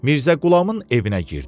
Mirzə Qulamın evinə girdik.